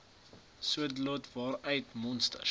saadlot waaruit monsters